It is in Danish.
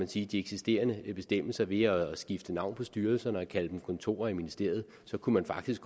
de de eksisterende bestemmelser ved at skifte navn på styrelserne og kalde dem kontorer i ministeriet så kunne man faktisk